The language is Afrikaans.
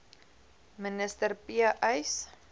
minister p uys